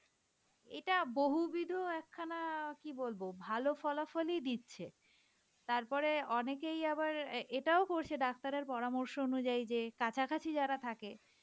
এটা বহুবিধও একখানা অ্যাঁ কি বলবো ভালো ফলাফলই দিচ্ছে, তার পরে অনেকেই আবার এটাও করছে ডাক্তারের পরামর্শ অনুযায়ী যে কাছাকাছি যারা থাকে